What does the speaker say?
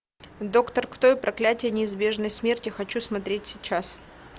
доктор кто и проклятие неизбежной смерти хочу смотреть сейчас